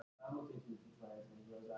Ríkissjóður greiðir hæst gjöld